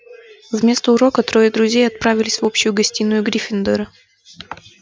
вместо урока трое друзей отправились в общую гостиную гриффиндора